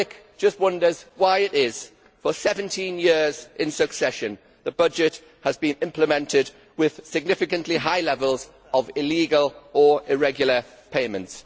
The public just wonders why it is that for 17 years in succession the budget has been implemented with significantly high levels of illegal or irregular payments.